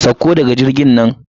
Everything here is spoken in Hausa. Sauko daga jirgin nan.